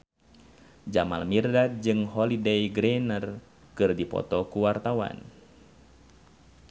Jamal Mirdad jeung Holliday Grainger keur dipoto ku wartawan